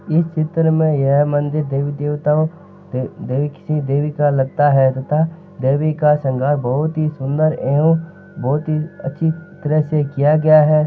इस चित्र में यह मंदिर देवी देवता ओ देवी का लगता है तथा देवी का बहुत ही सुंदर एवं बहुत ही अच्छी तरह से किया गया है।